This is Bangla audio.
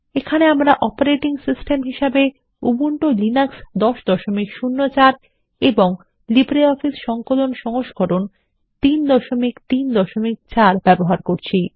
এখানে আমরা অপারেটিং সিস্টেম হিসেবে উবুন্টুলিনাক্স ১০০৪এবং লিব্রিঅফিস সংকলন সংস্করণ ৩৩৪ব্যবহার করছি